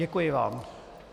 Děkuji vám.